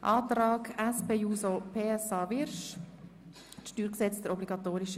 Wer den Antrag der SP-JUSO-PSA-Fraktion annehmen will, stimmt Ja, wer diesen ablehnt, stimmt Nein.